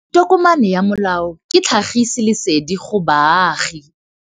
Tokomane ya molao ke tlhagisi lesedi go baagi.